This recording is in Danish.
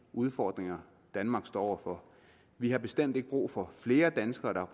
udfordringer danmark står over for vi har bestemt ikke brug for flere danskere der